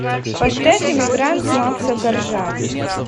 поставь эмигрант макса коржа